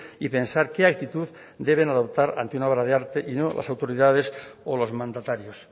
y pensar qué actitud deben adoptar ante una obra de arte y no las autoridades o los mandatarios